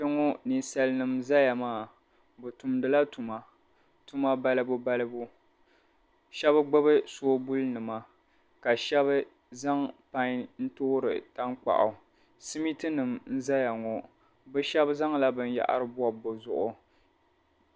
Kpeŋo ninsalinima n-zaya maa bɛ tumdila tuma tuma balibu balibu shɛb' gbubi soobulinima ka shɛb' zaŋ pain n-toori tankpaɣu simintinim' n-zaya ŋo bɛ shɛb' zaŋla binyɛhiri bɔbi bɛ zuɣu.